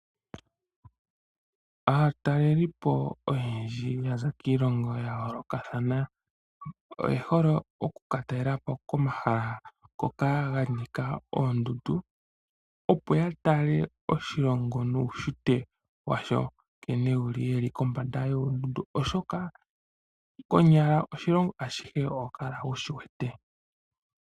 Aatalelipo oyendji ya za kiilongo ya yoolokathana oye hole oku ka talelapo komahala ngoka ga nika oondundu. Opo ya tale oshilongo nuunshitwe washo nkene wu li ye li kombanda yoondundu oshoka konyala oshilongo ashihe oho kala wu shi wete.